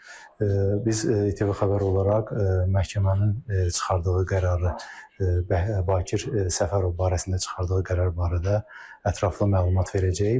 Biz ATV Xəbər olaraq məhkəmənin çıxardığı qərarı, Bakir Səfərov barəsində çıxardığı qərar barədə ətraflı məlumat verəcəyik.